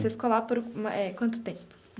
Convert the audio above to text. Você ficou lá por eh quanto tempo?